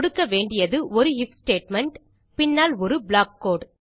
கொடுக்க வேண்டியது ஒரு ஐஎஃப் ஸ்டேட்மெண்ட் பின்னால் ஒரு ப்ளாக் கோடு